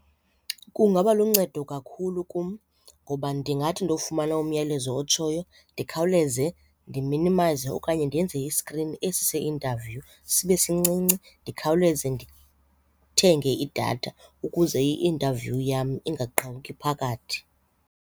Kungaba luncedo kakhulu kum ngoba ndingathi ndofumana umyalezo otshoyo ndikhawuleze ndiminimayize okanye ndenze i-screen esi se-interview sibe sincinci ndikhawuleze ndithenge idatha ukuze i-interview yam ungaqhawuki phakathi.